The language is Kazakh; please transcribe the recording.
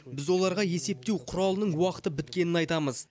біз оларға есептеу құралының уақыты біткенін айтамыз